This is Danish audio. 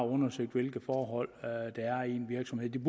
undersøgt hvilke forhold der er i den virksomhed det